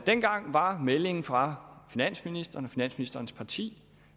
dengang var meldingen fra finansministeren og finansministerens parti